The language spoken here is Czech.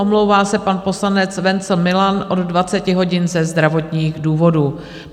Omlouvá se pan poslanec Wenzl Milan od 20 hodin ze zdravotních důvodů.